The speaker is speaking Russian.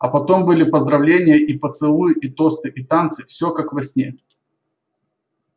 а потом были поздравления и поцелуи и тосты и танцы все как во сне